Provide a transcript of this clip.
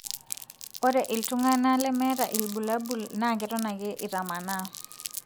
ore iltunganaa lemetaa ilbulabul na keton ake itamanaa.